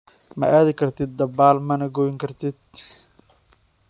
Ma aadi kartid dabaal, mana qoyn kartid."